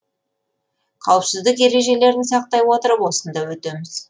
қауіпсіздік ережелерін сақтай отырып осында өтеміз